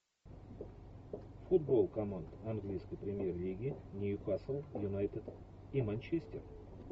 футбол команд английской премьер лиги ньюкасл юнайтед и манчестер